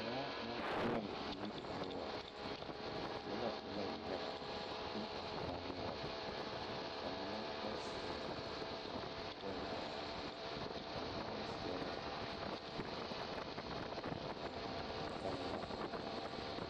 Kõɔ naŋ peɛɛli yiri noɔre nobɔ e la yaga a be a kõɔ noɔre ba mine ba seɛ bonzaa ba mine meŋ seɛ la panti yoŋ ba mine gaŋ la a baa noɔre.